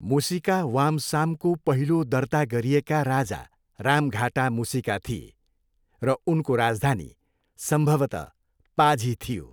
मुसिका वामसामको पहिलो दर्ता गरिएका राजा रामघाटा मुसिका थिए, र उनको राजधानी सम्भवतः पाझी थियो।